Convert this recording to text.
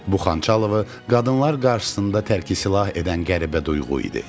Bu Xançalovu qadınlar qarşısında tərki silah edən qəribə duyğu idi.